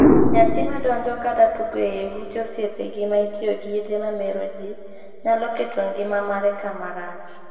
Nyathi madonjo kata tugo ei ute osiepegi ma itiye gi yedhe mamero jii nyalo keto ngima mare kama rach.